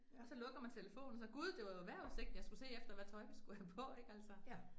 Og så lukker man telefonen, og så gud det var jo vejrudsigten, jeg skulle se efter hvad tøj, vi skulle have på ik altså